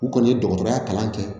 U kɔni ye dɔgɔtɔrɔya kalan kɛ